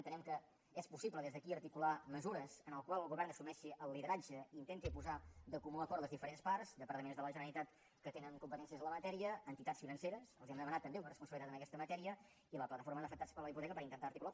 entenem que és possible des d’aquí articular mesures en les quals el govern assumeixi el lideratge i intenti posar de comú acord les diferents parts departaments de la generalitat que tenen competències en la matèria entitats financeres els hem de demanar també una responsabilitat en aquesta matèria i la plataforma d’afectats per la hipoteca per intentar ho articular